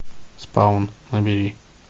спаун набери